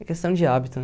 É questão de hábito,